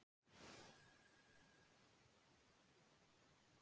Ekki óraði mig fyrir því að hún yrði einhvern tíma fræg listakona.